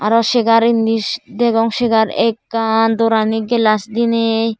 aro chegar indi degong chegar ekkan doorani glass diney.